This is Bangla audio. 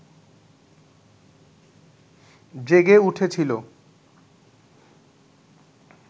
জেগে উঠেছিল